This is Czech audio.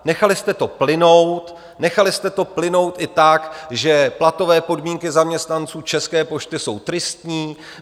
Nechali jste to plynout, nechali jste to plynout i tak, že platové podmínky zaměstnanců České pošty jsou tristní.